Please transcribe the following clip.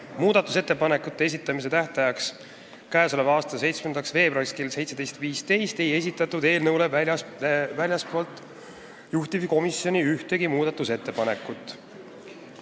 Muudatusettepanekute esitamise tähtajaks, k.a 7. veebruariks kella 17.15-ks ei laekunud eelnõule väljastpoolt juhtivkomisjoni ühtegi muudatusettepanekut.